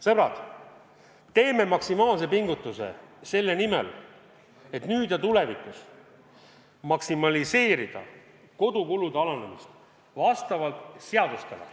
Sõbrad, teeme maksimaalse pingutuse selle nimel, et nüüd ja tulevikus maksimaliseerida kodukulude alandamist vastavalt seadustele.